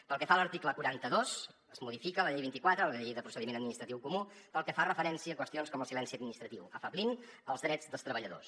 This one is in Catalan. pel que fa a l’article quaranta dos es modifica la llei vint quatre la llei de procediment administratiu comú pel que fa referència a qüestions com el silenci administratiu afeblint els drets dels treballadors